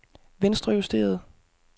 venstrejusteret